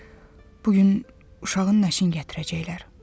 Bir də bu gün uşağın nəşini gətirəcəklər.